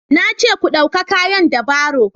na ce ku dauka kayan da baro